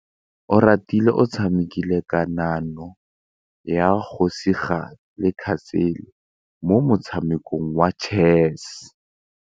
Oratile o tshamekile kananyô ya kgosigadi le khasêlê mo motshamekong wa chess.